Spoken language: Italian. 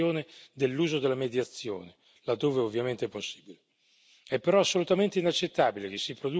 Pensiamo anche che sia giusto arrivare all'incentivazione dell'uso della mediazione, laddove ovviamente è possibile.